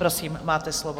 Prosím, máte slovo.